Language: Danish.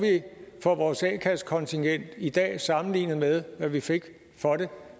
vi for vores a kassekontingent i dag sammenlignet med hvad vi fik for det